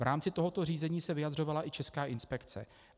V rámci tohoto řízení se vyjadřovala i Česká inspekce.